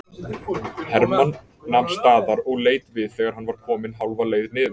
Hermann nam staðar og leit við þegar hann var kominn hálfa leið niður.